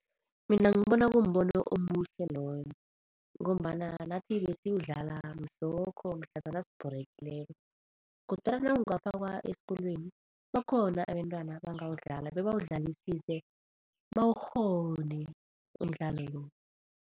Mina ngibona kumbono omuhle loyo ngombana nathi besiwudlala mhlokho mhlazana sibhorekileko kodwana nawungafakwa esikolweni bakhona abentwana abangawudlala bebawudlalisise bawukghone umdlalo lo.